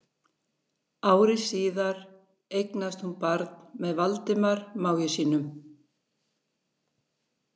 Ári síðar eignaðist hún barn með Valdimar mági sínum.